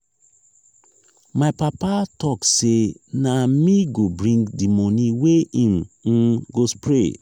my papa tok sey na me go bring di moni wey im um go spray.